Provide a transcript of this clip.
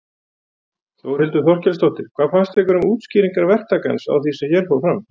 Þórhildur Þorkelsdóttir: Hvað finnst ykkur um útskýringar verktakans á því sem hér fór fram?